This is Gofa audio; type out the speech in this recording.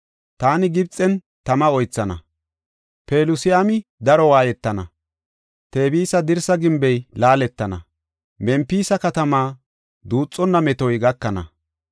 Taani Gibxen tama oythana; Pelusiyami daro waayetana; Tebisa dirsa gimbey laaletana; Mempisa katamaa duuxonna metoy gakana.